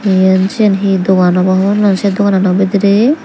yan sian he dogan obo ho no pang se dogano bidire.